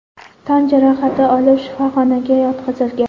tan jarohati olib shifoxonaga yotqizilgan.